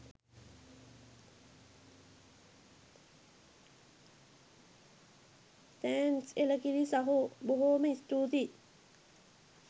thanks එලකිරි සහෝ බොහෝම ස්තුතියි